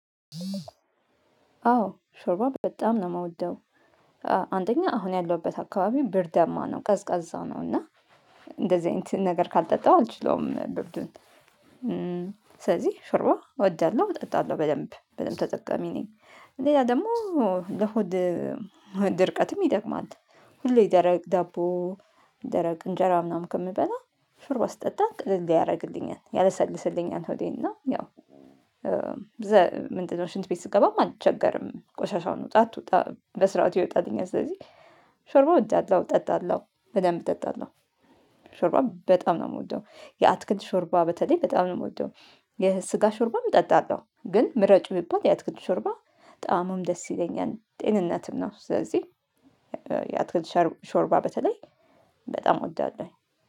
አዎ ሾርባ በጣም ነው የምወደው። አንደኛ አሁን ያለሁበት አካባቢ ብርዳማ ነው ቀዝቃዛ ነው እና እንደዚህ አይነት ነገር ካልጠጣው አልችለውም ብርዱን። ስለዚህ ሾርባ እወዳለሁ እጠጣለሁ በደንብ በደንብ ተጠቃሚ ነኝ። ሌላ ደግሞ ለሆድ ድርቀትም ይጠቅማል። ሁሌ ደረቅ ዳቦ ደረቅ እንጀራ ምናምን ከምበላ ሾርባ ስጠጣ ቅልል ያደረግልኛል ያለሰልስልኛል ሆዴን እና ያው። ምንድነው ሽንት ቤት ስገባም አልቸገርም ቆሻሻውን ውጣ አትወጣ በስርዓቱ ይወጣልኛል። ስለዚህ ሾርባ እወዳለሁ እጠጣለሁ በደንብ እጠጣለሁ። ሾርባ በጣም ነው የምወደው የአትክልት ሾርባ በተለይ በጣም ነው የምወደው። የስጋ ሾርባም እጠጣለሁ ግን ምረጪ ብባል ያትክልት ሾርባ ጣእሙም ደስ ይለኛል ጤንነትም ነው ስለዚህ። የአትክልት ሾርባ በተለይ በጣም እወዳለሁ